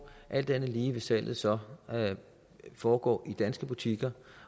alt andet lige vil salget så foregå i danske butikker